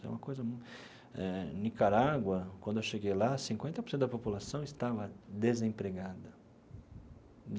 É uma coisa eh... Nicarágua, quando eu cheguei lá, cinquenta por cento da população estava desempregada.